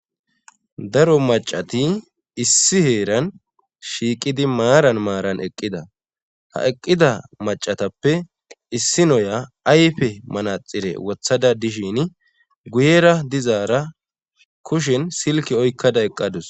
daro macati issi heeran shiiqidi maaran maaran eqqida ha eqqida macatappe issi noya ayfe manaxire wothada dishin guyera dizaara kushin silki oykkada eqqadus